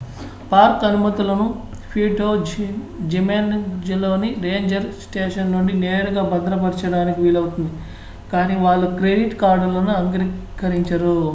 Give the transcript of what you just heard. park అనుమతులను Puerto జిమెనెజ్లోని ranger station నుండి నేరుగా భద్రపరచడానికి వీలవుతుంది కాని వాళ్ళు క్రెడిట్ కార్డులను అంగీకరించరు